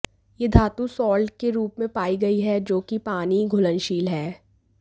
यह धातु साल्ट के रूप में पाई गई है जो की पानी घुलनशील है